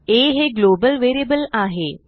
aहे global variableआहे